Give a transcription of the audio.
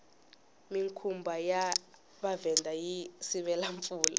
minkumba ya mavhenda yi sivela mpfula